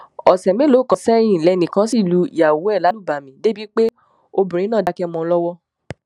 ọsẹ mélòó kan sẹyìn lẹnìkan ṣì lu ìyàwó ẹ lálùbami débìí pé obìnrin náà dákẹ mọ ọn lọwọ